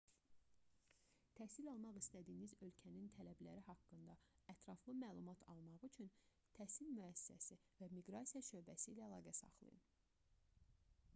təhsil almaq istədiyiniz ölkənin tələbləri haqqında ətraflı məlumat almaq üçün təhsil müəssisəsi və miqrasiya şöbəsi ilə əlaqə saxlayın